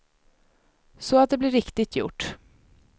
Så att det blir riktigt gjort.